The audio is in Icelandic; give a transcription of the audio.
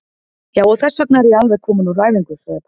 Já, og þessvegna er ég alveg kominn úr æfingu, sagði pabbi.